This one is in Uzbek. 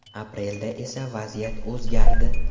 Aprelda esa vaziyat o‘zgardi.